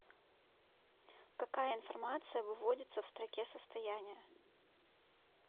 какая информация выводится в строке состояния